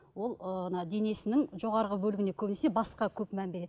ол ы ана денесінің жоғарғы бөлігіне көбінесе басқа көп мән береді